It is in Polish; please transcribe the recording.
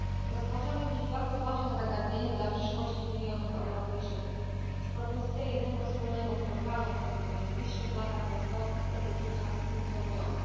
Rozważamy dziś bardzo ważne zagadnienie dla przyszłości milionów Europejczyków propozycję jednego wspólnego programu, który w najbliższych latach zastąpi te dotychczas funkcjonujące.